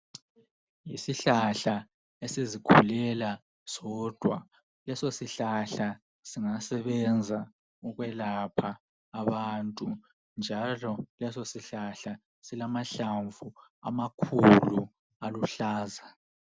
Isihlahla esizikhulela sodwa leso sihlahla siyasebenza ukwelapha abantu njalo leso sihlahla silamahlamvu amakhulu aluhlaza